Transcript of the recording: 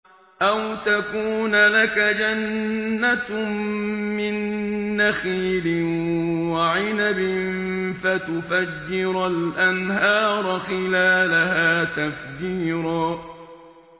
أَوْ تَكُونَ لَكَ جَنَّةٌ مِّن نَّخِيلٍ وَعِنَبٍ فَتُفَجِّرَ الْأَنْهَارَ خِلَالَهَا تَفْجِيرًا